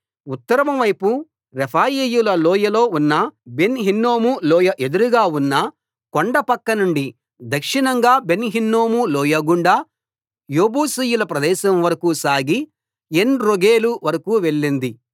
ఉత్తరం వైపు రెఫాయీయుల లోయలో ఉన్న బెన్‌ హిన్నోము లోయ ఎదురుగా ఉన్న కొండప్రక్కనుండి దక్షిణంగా బెన్‌హిన్నోము లోయ గుండా యెబూసీయుల ప్రదేశం వరకూ సాగి ఏన్‌రోగేలు వరకూ వెళ్ళింది